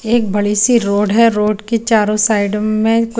एक बड़ी सी रोड है रोड के चारो साइड में --